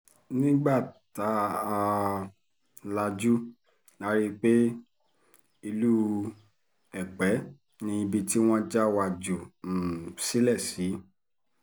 nígbà tá um a lajú la rí i pé ìlú èpè ni ibi tí wọ́n já wa jù um sílẹ̀ sí